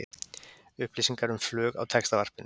Upplýsingar um flug á Textavarpinu